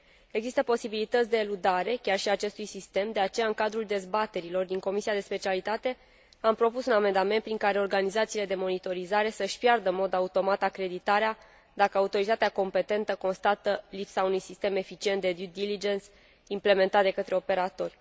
Există posibilități de eludare chiar și a acestui sistem, de aceea în cadrul dezbaterilor din comisia de specialitate am propus un amendament prin care organizațiile de monitorizare să și piardă în mod automat acreditarea dacă autoritatea competentă constată lipsa unui sistem eficient de due diligence implementat de către operatori.